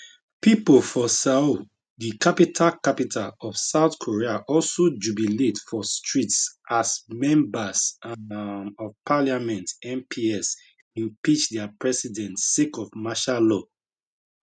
pipo for seoul di capital capital of south korea also jubilate for streets as members um of parliament mps impeach dia president sake of martial law